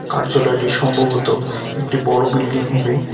কার্যালয়টি সম্ভবত একটি বড়ো বিল্ডিং হবে।